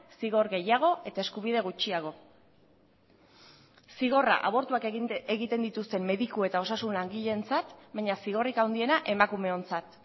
zigor gehiago eta eskubide gutxiago zigorra abortuak egiten dituzten mediku eta osasun langileentzat baina zigorrik handiena emakumeontzat